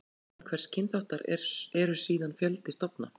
Innan hvers kynþáttar eru síðan fjöldi stofna.